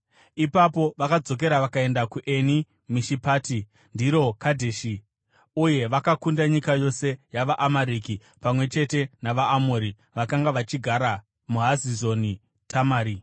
Ipapo vakadzokera vakaenda kuEni Mishipati (ndiro Kadheshi), uye vakakunda nyika yose yavaAmareki, pamwe chete navaAmori vakanga vachigara muHazazoni Tamari.